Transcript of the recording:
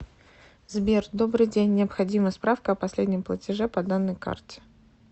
сбер добрый день необходима справка о последнем платеже по данной карте